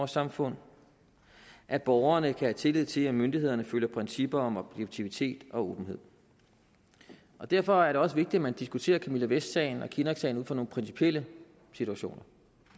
samfundet at borgerne kan have tillid til at myndighederne følger principperne om objektivitet og åbenhed derfor er det også vigtigt at man diskuterer camilla vest sagen og kinnocksagen ud fra nogle principielle situationer